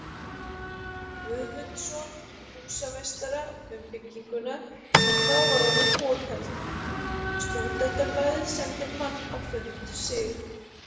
Guðmundsson, húsameistara, um bygginguna, sem þá var orðin fokheld: Stúdentablaðið sendi mann á fund Sig.